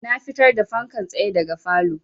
Na fitar da fankan tsaye daga falow